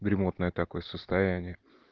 ремонтное такое состояние